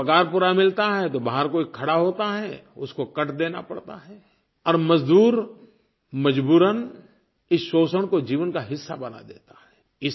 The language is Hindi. कभी पगार पूरा मिलता है तो बाहर कोई खड़ा होता है उसको कट देना पड़ता है और मज़दूर मजबूरन इस शोषण को जीवन का हिस्सा बना देता है